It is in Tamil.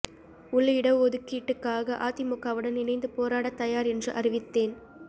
உள் இடஒதுக்கீட்டுக்காக அதிமுகவுடன் இணைந்து போராடத் தயார் என்று அறிவித்தேன்